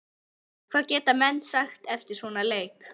Hvað geta menn sagt eftir svona leik?